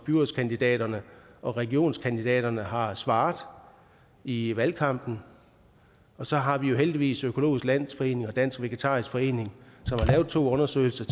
byrådskandidaterne og regionskandidaterne har svaret i valgkampen og så har vi jo heldigvis økologisk landsforening og dansk vegetarisk forening som har lavet to undersøgelser